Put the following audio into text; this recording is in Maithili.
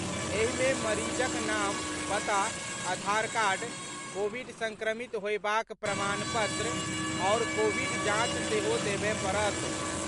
एहि मे मरीजक नाम, पता, आधार कार्ड, कोविड संक्रमित होयबाक प्रमाणपत्र आओर कोविड जांच सेहो देबय पड़त।